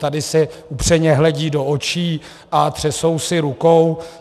Tady si upřeně hledí do očí a třesou si rukou.